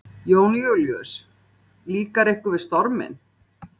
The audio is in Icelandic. Jón Júlíus: Líkar ykkur við storminn?